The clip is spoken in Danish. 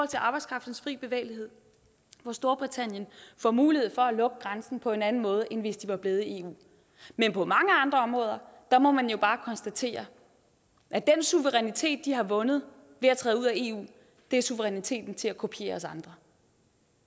til arbejdskraftens fri bevægelighed hvor storbritannien får mulighed for at lukke grænsen på en anden måde end hvis de var blevet i eu men på mange andre områder må man jo bare konstatere at den suverænitet de har vundet ved at træde ud af eu er suveræniteten til at kopiere os andre